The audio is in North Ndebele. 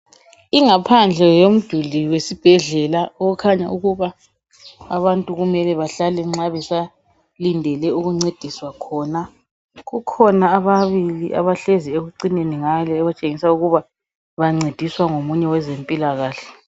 Ingaphandle yomduli wesibhedlela okukhanya ukuba abantu kumele bahlale nxa besalindele ukuncediswa khona. Kukhona ababili abahlezi ekucineni ngale okutshengisa ukuba bancediswa ngomunye wezempilakahle.